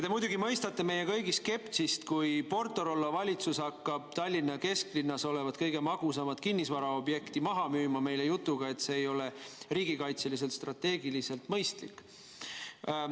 Te muidugi mõistate meie kõigi skepsist, kui PortoRollo valitsus hakkab Tallinna kesklinnas olevat kõige magusamat kinnisvaraobjekti meile maha müüma jutuga, et see ei ole riigikaitseliselt strateegiliselt mõistlik.